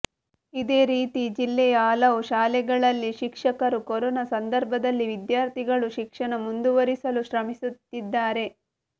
ಇದೇ ರೀತಿ ಜಿಲ್ಲೆಯ ಹಲವು ಶಾಲೆಗಳಲ್ಲಿ ಶಿಕ್ಷಕರು ಕೊರೋನಾ ಸಂದರ್ಭದಲ್ಲಿ ವಿದ್ಯಾರ್ಥಿಗಳು ಶಿಕ್ಷಣ ಮುಂದುವರಿಸಲು ಶ್ರಮಿಸುತ್ತಿದ್ದಾರೆ